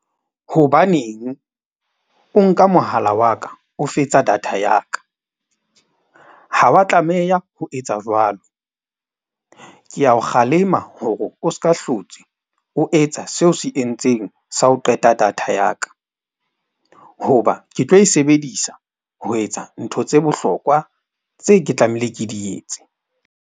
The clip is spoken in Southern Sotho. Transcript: Hobaneng o nka mohala wa ka o fetsa data ya ka? Ha wa tlameha ho etsa jwalo. Ke a o kgalema hore o ska hlotse, o etsa seo se entseng sa ho qeta data ya ka. Hoba ke tlo e sebedisa ho etsa ntho tse bohlokwa tseo ke tlamehileng ke di etse.